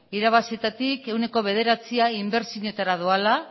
irabazietatik ehuneko bederatzia inbertsioetara doala